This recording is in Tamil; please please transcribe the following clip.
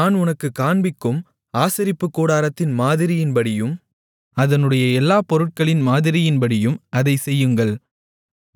நான் உனக்குக் காண்பிக்கும் ஆசரிப்புக்கூடாரத்தின் மாதிரியின்படியும் அதனுடைய எல்லாப்பொருட்களின் மாதிரியின்படியும் அதைச் செய்யுங்கள்